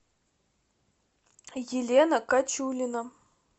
елена кочулина